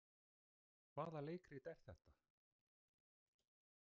Hvaða leikrit er þetta?